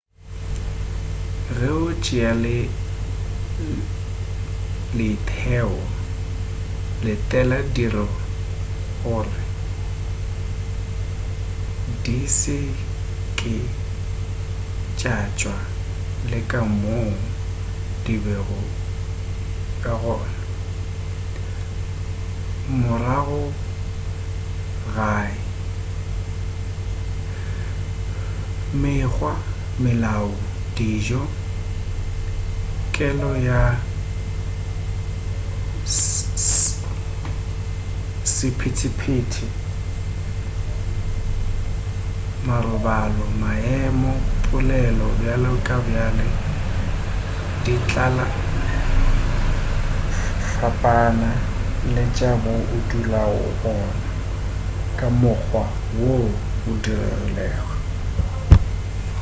ge o tšea leeteo letela dilo gore di se ke tša tswana le ka moo di bego ka gona morago gae mekgwa melao dijo kelo ya sephetephete marobalo maemo polelo bjale le bjale di tla fapana le tša mo o dulago gona ka mokgwa wo o rilego